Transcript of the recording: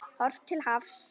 Horft til hafs.